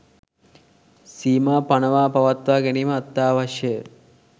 සීමා පනවා පවත්වා ගැනිම අත්‍යාවශ්‍යය.